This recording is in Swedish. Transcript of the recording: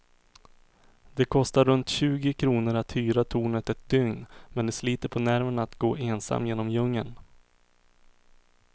Det kostar runt tjugo kronor att hyra tornet ett dygn, men det sliter på nerverna att gå ensam genom djungeln.